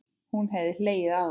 Hún hefði hlegið að honum.